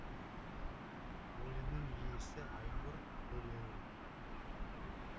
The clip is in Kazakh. өлеңнің иесі айнұр төлеу